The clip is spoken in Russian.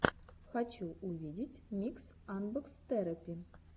хочу увидеть микс анбокс терэпи